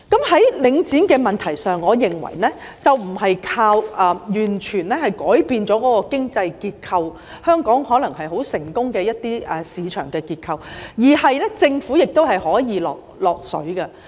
在領展的問題上，我認為不是完全靠改變經濟結構、一些香港可能一直賴以成功的市場結構來處理，而是政府也可以"落水"的。